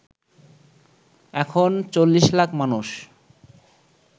এখন ৪০ লাখ মানুষ